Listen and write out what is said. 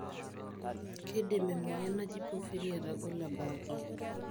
kindim emoyian naaji porphria atagolo ebaaki.